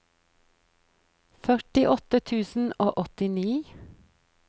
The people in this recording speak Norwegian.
førtiåtte tusen og åttini